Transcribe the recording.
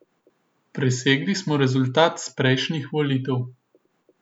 Presegli smo rezultat z prejšnjih volitev.